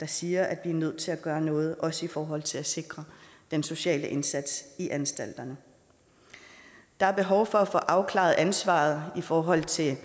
der siger at vi er nødt til at gøre noget også i forhold til at sikre den sociale indsats i anstalterne der er behov for at få afklaret ansvaret i forhold til